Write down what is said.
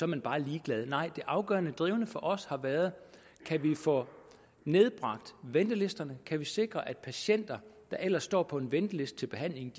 man bare ligeglad nej det afgørende og drivende for os har været kan vi få nedbragt ventelisterne kan vi sikre at patienter der ellers står på en venteliste til behandling